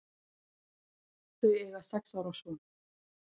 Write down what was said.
Þau eiga sex ára son.